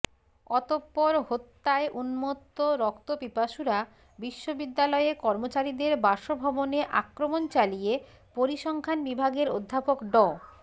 অতঃপর হত্যায় উন্মত্ত রক্তপিপাসুরা বিশ্ববিদ্যালয়ে কর্মচারীদের বাসভবনে আক্রমণ চালিয়ে পরিসংখ্যান বিভাগের অধ্যাপক ড